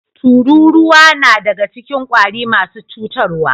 Tururuwa nadaga cikin kwari marasa cutar wa